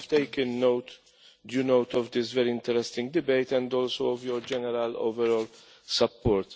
I have taken due note of this very interesting debate and also of your general overall support.